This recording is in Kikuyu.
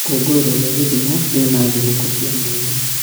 Ikũngũĩro rĩa Kisumu rĩna thigũkũ cia mwanya.